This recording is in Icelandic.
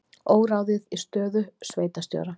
Óráðið í stöðu sveitarstjóra